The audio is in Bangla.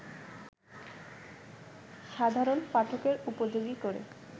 সাধারণ পাঠকের উপযোগী করে